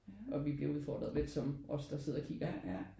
Og vi bliver udfordret lidt som os der sidder og kigger ikke